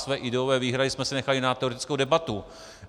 Své ideové výhrady jsme si nechali na teoretickou debatu.